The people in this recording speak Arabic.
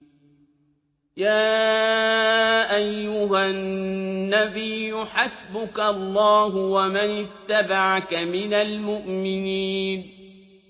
يَا أَيُّهَا النَّبِيُّ حَسْبُكَ اللَّهُ وَمَنِ اتَّبَعَكَ مِنَ الْمُؤْمِنِينَ